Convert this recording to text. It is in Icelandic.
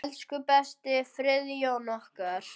Elsku besti Friðjón okkar.